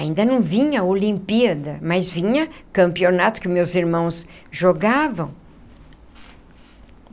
Ainda não vinha a Olimpíada, mas vinha campeonato que meus irmãos jogavam.